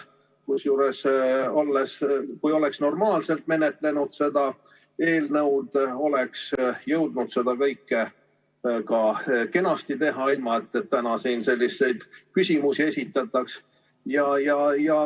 Kusjuures, kui seda eelnõu oleks menetletud normaalselt, oleks ikkagi jõutud seda kõike väga kenasti teha, ilma et täna siin selliseid küsimusi esitataks.